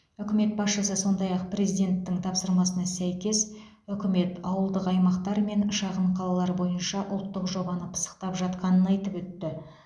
үкімет басшысы сондай ақ президенттің тапсырмасына сәйкес үкімет ауылды аумақтар мен шағын қалалар бойынша ұлттық жобаны пысықтап жатқанын айтып өтті